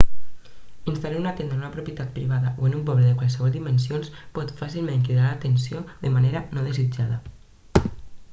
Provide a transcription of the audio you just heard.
instal·lar una tenda en una propietat privada o en un poble de qualssevol dimensions pot fàcilment cridar l'atenció de manera no desitjada